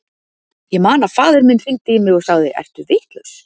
Ég man að faðir minn hringdi í mig og sagði, ertu vitlaus?